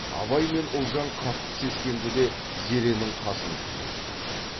абай мен ұлжан қатты сескенді де зеренің қасын күзетті